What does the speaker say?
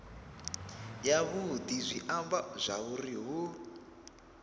yavhudi zwi amba zwauri hu